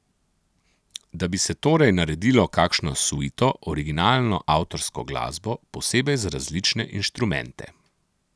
Da bi se torej naredilo kakšno suito, originalno avtorsko glasbo, posebej za različne inštrumente.